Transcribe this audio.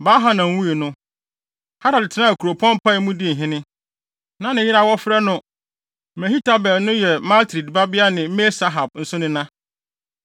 Baal-Hanan wui no, Hadad tenaa kuropɔn Pai mu dii hene. Na ne yere a wɔfrɛ no Mehetabel no yɛ Matred babea ne Me-Sahab nso nena.